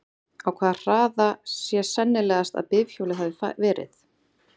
Á hvaða hraða sé sennilegast að bifhjólið hafi verið?